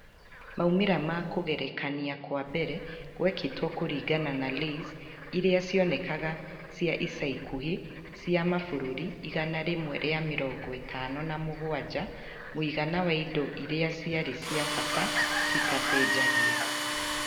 Maumĩrĩra ma kũgerekania kwa mbere gwekĩtwo kũringana na LAYS iria cionekaga cia ica ikuhĩ cia mabũrũri igana rĩmwe rĩa mĩrongo ĩtano na mũgwanja (mũigana wa indo iria ciarĩ cia bata citacenjagia).